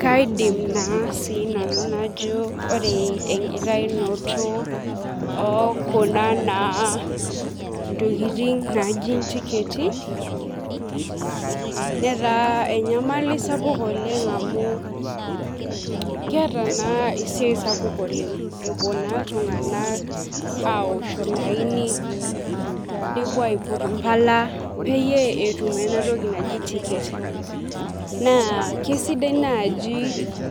Kaidim na sinanu najo ore enkitaunoto ontokitin naji na ntiketi netaabenyamali sapuk amu keeta na esiai sapuk oleng epuo na ltunganak aosh olaini nepuo aiput mbala petum enatoki naji tiket na Kesidai nai